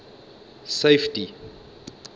safety